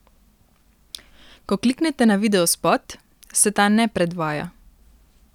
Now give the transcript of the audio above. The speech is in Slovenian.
Ko kliknete na videospot, se ta ne predvaja.